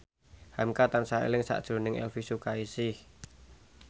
hamka tansah eling sakjroning Elvy Sukaesih